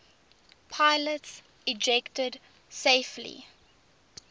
pilots ejected safely